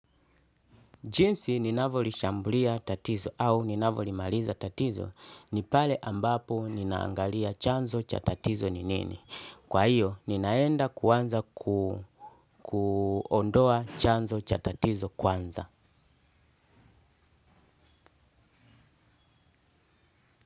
Jinsi ninavoli shambulia tatizo au nina volimaliza tatizo ni pale ambapo ninaangalia chanzo cha tatizo ni nini. Kwa hiyo ninaenda kuanza kuondoa chanzo cha tatizo kwanza.